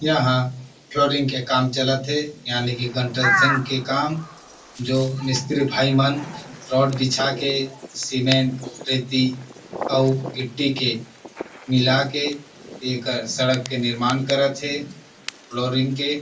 यहां फ्लोरिंग के काम चलत थे यानि के कॉन्स्ट्रक्शन के काम जो मिस्त्री भाई मन रॉड बिछा के सीमेंट रेती और गिट्टी के मिला के एकर सड़क के निर्माण करत हे फ्लोरिंग के--